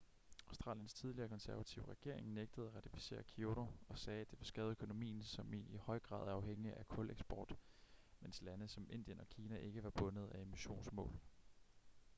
australiens tidligere konservative regering nægtede at ratificere kyoto og sagde at det ville skade økonomien som i høj grad er afhængig af kuleksport mens lande som indien og kina ikke var bundet af emissionsmål